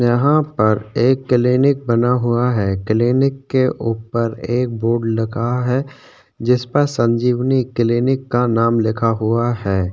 यहाँ पर एक किलिनीक बना हुआ है किलिनीक के ऊपर एक बोर्ड लगा है जिस पर संजीवनी किलिनीक का नाम लिखा हुआ है।